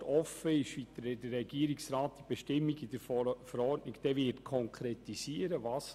Es ist noch offen, wie der Regierungsrat diese Bestimmung in der Verordnung konkretisieren wird.